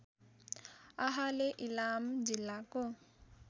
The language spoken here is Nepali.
आहाले इलाम जिल्लाको